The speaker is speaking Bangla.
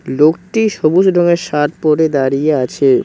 লোকটি সবুজ রঙের শার্ট পরে দাঁড়িয়ে আছে।